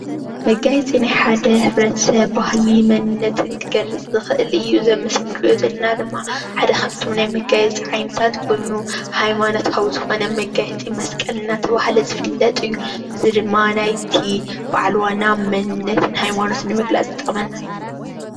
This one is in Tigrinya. መጋየፂ ናይ ሓደ ሕብረተሰብ ባህሊ መንነትን ክገልፅ ዝክእል እዩ፡፡ እዚ ኣብ ምስሊ እንሪኦ ዘለና ድማ ሓደ ካብቶም ናይ መጋየፅታት ዓይነታት ሓደ ኮይኑ ሃይማኖታዊ ዝኮነ መጋየፂ መስቀል እንዳተባሃለ ዝፍልጥ እዩ፡፡ እዚ ድማ ናይቲ በዓል ዋና መንነትን ሃይማኖትን ንምግላፅ ዝጠቅመና እዩ፡፡